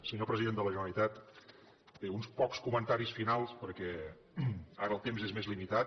senyor president de la generalitat bé uns pocs comentaris finals perquè ara el temps és més limitat